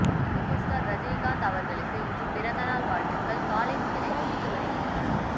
super star Rajinikanth அவர்களுக்கு இன்று பிறந்தநாள் வாழ்த்துக்கள் காலை முதலே குவிந்து வருகின்றன